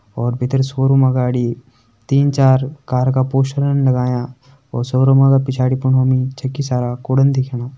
और भितर शोरूम अगाड़ी तीन चार कार का पोस्टरन लगायां और शोरूम का पिछाड़ी फुणु मि छकि सारा कूड़न दिखेणा।